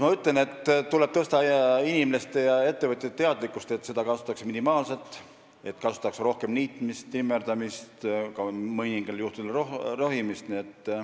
Ma ütlen, et tuleb tõsta inimeste ja ettevõtjate teadlikkust, et seda kasutataks minimaalselt ja rohkem tehtaks niitmist, trimmerdamist ja mõningatel juhtudel ka rohimist.